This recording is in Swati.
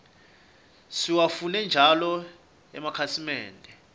siwafune njalo emakhasimende